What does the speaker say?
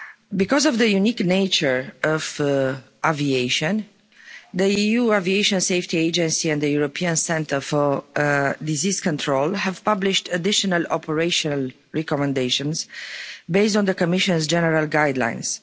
Because of the unique nature of aviation, the EU Aviation Safety Agency and the European Centre for Disease Control have published additional operational recommendations based on the Commission's general guidelines.